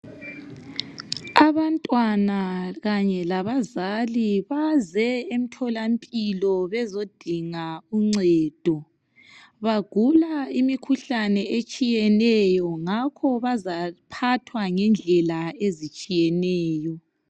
Abantwana kanye labazali baze emtholampilo bezodinga uncedo bagula imikhuhlane etshiyeneyo ngakho bazaphathwa ngendlela ezitshiyeneyo.